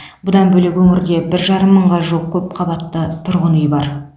бұдан бөлек өңірде бір жарым мыңға жуық көпқабатты тұрғын үй бар